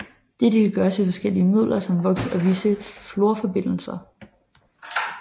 Dette kan gøres ved forskellige midler som voks og visse fluorforbindelser